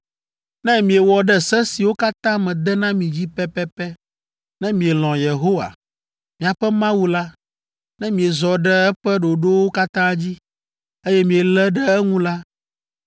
“Ne miewɔ ɖe se siwo katã mede na mi dzi pɛpɛpɛ, ne mielɔ̃ Yehowa, miaƒe Mawu la, ne miezɔ ɖe eƒe ɖoɖowo katã dzi, eye mielé ɖe eŋu la,